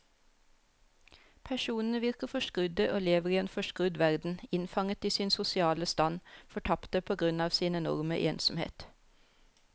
Personene virker forskrudde og lever i en forskrudd verden, innfanget i sin sosiale stand, fortapte på grunn av sin enorme ensomhet.